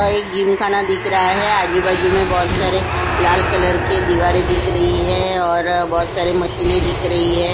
एक जिम खाना दिख रहा है आजू-बाजू में बहुत सारे लाल कलर के दीवारें दिख रही है और बहुत सारे मशीनें दिख रही है।